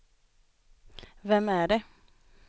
vem är det